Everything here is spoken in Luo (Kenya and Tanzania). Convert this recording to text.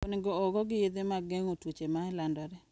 Onego ogogi yedhe mag geng'o tuoche ma landore.